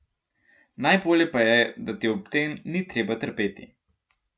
Najbolje pa je, da ti ob tem ni treba trpeti.